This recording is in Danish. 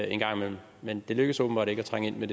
en gang imellem men det lykkes åbenbart ikke at trænge ind med